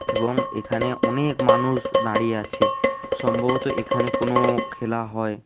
এবং এখানে অনেক মানুষ দাড়িয়ে আছে সম্ভবত এখানে কোনো খেলা হয়।